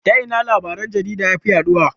Ta ina labaran jarida yafi yaɗuwa?